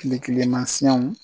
kilikilimasiɲɛnw